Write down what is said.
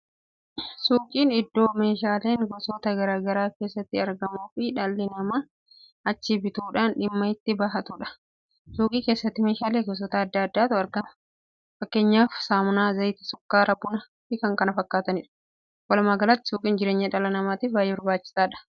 Suuqiin iddoo meeshaaleen gosoota garaa garaa keessatti argamuu fi dhalli namaa achii bituudhaan dhimma itti kan ba'atuudha. Suuqii keessatti meeshaalee gosoota addaa addaattu argama. fakkeenyaaf saamunaa, zayita, sukkaara, buna fi k.k.f dha. Wolumaagalatti suuqiin jireenya dhala namaatiif baay'ee barbaachisaadha